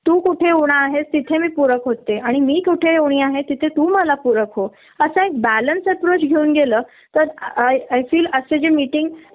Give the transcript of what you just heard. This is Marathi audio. जे त्यांच्यात कमी आहे तर आपण भरून द्यायच असत, जे आपल्यात का कमी आहे ते त्यांनी भरुन द्यायच असत अश्यानेच कंपनी चा ग्रोथ आणि विकास होत असतो पण हे समजून च घेत नही लोकं.